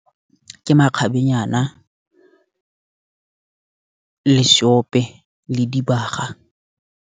Ke makgabenyana, le seope le dibaga.